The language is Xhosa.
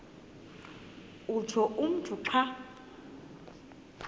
utsho umntu xa